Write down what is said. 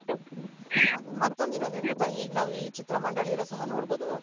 ಮತ್ತೊಂದ್ ಏನ್ ಗೊತ್ತ ಈಗ್ ನಾವ್ ಈ ಚಿತ್ರ ಮಂಡಳಿ ಅಲ್ಲಿ ಸಹ ನೋಡ್ಬೋದು